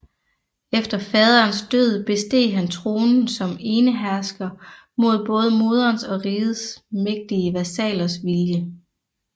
Efter faderens død besteg han tronen som enehersker mod både moderens og rigets mægtige vasallers vilje